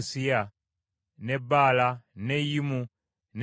n’e Baala n’e Yimu, n’e Ezemu,